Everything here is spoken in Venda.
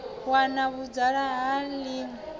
wana vhudzulapo ha ḽi ṅwe